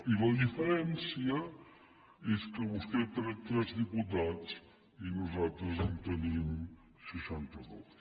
i la diferència és que vostè ha tret tres diputats i nosaltres en tenim seixanta dos